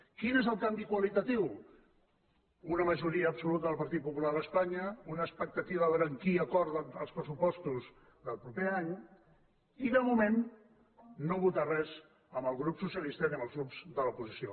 quin és el canvi qualitatiu una majoria del partit po·pular a espanya una expectativa de veure amb qui acorden els pressupostos del proper any i de moment no votar res amb el grup socialista ni amb els grups de l’oposició